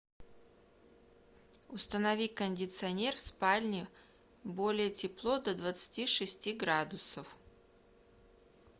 установи кондиционер в спальне более тепло до двадцати шести градусов